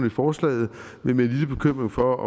i forslaget med en lille bekymring for